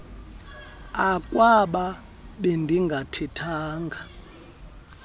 uh akwaba bendingathethanga